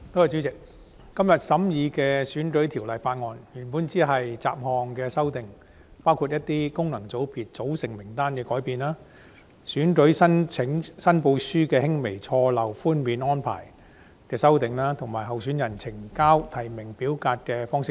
主席，今天審議的《2019年選舉法例條例草案》原本只關乎雜項修訂，包括功能界別組成人士名單的修訂、選舉申報書輕微錯漏寬免安排的修訂，以及候選人呈交提名表格的方式等。